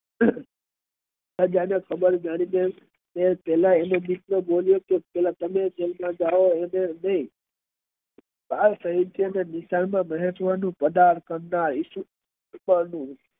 ખબર પડી કે પેહલા તમે જેલ માં જાઓ